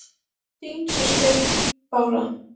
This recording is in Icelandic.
Þín systir, Bára.